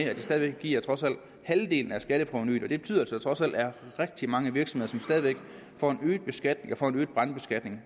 at det stadig væk giver halvdelen af skatteprovenuet og det betyder at der trods alt er rigtig mange virksomheder for hvilke brandskatningen